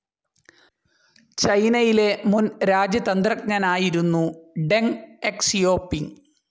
ചൈനയിലെ മുൻ രാജ്യതന്ത്രജ്ഞനായിരുന്നു ഡെങ് എക്സിയോപിങ്.